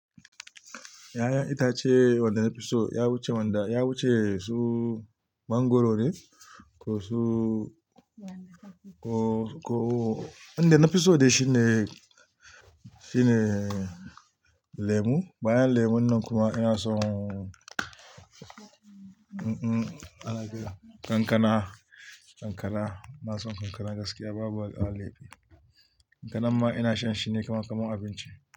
Ƴaƴan ita ce wanda na fi so. Ya wuce wanda, ya wuce su mangwaro ne ko su, ko, ko, wanda na fi so dai shine, shine lemu. Bayan lemun nan kuma ina son, kankana, kankana. Ina son kankana gaskiya babu halitta. Kankanan ma ina shan shi ne kamar, kamar abinci.